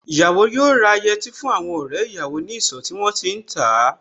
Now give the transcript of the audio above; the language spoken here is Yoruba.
Ìyàwó yóò rà yẹtí fún àwọn ọ̀rẹ́ ìyàwó ní ìsọ̀ tí wón ti ń tà á.